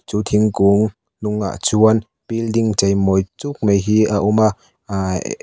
chu thingkung hnungah chuan building chei mawi chuk mai hi a awm a ahh ehh.